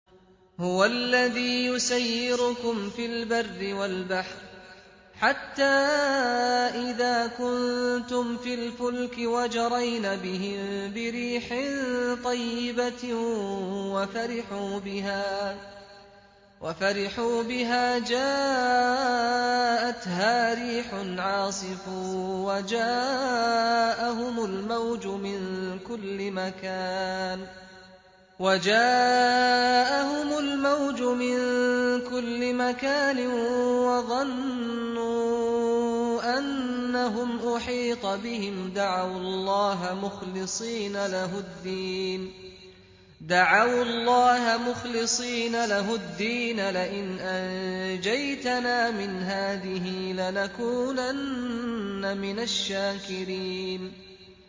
هُوَ الَّذِي يُسَيِّرُكُمْ فِي الْبَرِّ وَالْبَحْرِ ۖ حَتَّىٰ إِذَا كُنتُمْ فِي الْفُلْكِ وَجَرَيْنَ بِهِم بِرِيحٍ طَيِّبَةٍ وَفَرِحُوا بِهَا جَاءَتْهَا رِيحٌ عَاصِفٌ وَجَاءَهُمُ الْمَوْجُ مِن كُلِّ مَكَانٍ وَظَنُّوا أَنَّهُمْ أُحِيطَ بِهِمْ ۙ دَعَوُا اللَّهَ مُخْلِصِينَ لَهُ الدِّينَ لَئِنْ أَنجَيْتَنَا مِنْ هَٰذِهِ لَنَكُونَنَّ مِنَ الشَّاكِرِينَ